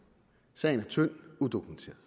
sagen er tynd udokumenteret